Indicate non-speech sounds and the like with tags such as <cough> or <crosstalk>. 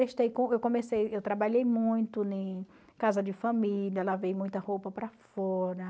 <unintelligible> Eu comecei eu trabalhei muito em casa de família, lavei muita roupa para fora.